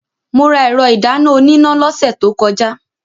Mo ra ẹ̀rọ ìdáná oníná lọ́sẹ̀ tó kọjá.